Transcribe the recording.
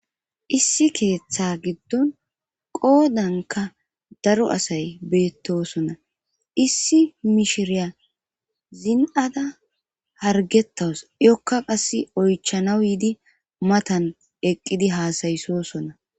issi keeththa giddon qoodanka daro asay beettosona issi mishiriya zin7ada hargetawus iyokka qasse oychanaw yiidi matan eqqidi haasayisosona